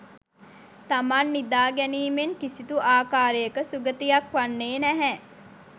තමන් නිදා ගැනීමෙන් කිසිදු ආකාරයක සුගතියක් වන්නේ නැහැ.